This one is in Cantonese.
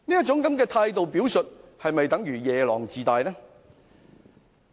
這種態度的表述是否夜郎自大呢？